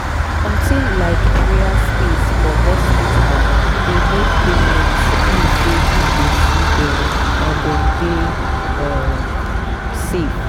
something like prayer space for hospital dey make patients feel say people see them and dem dey um safe.